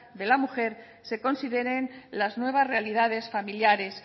de la mujer se consideren las nuevas realidades familiares